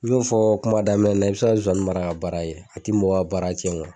U y'o fɔ kuma daminɛ na i bɛ se ka zozani mara ka baara yɛ a tɛ mɔgɔ ka baara cɛn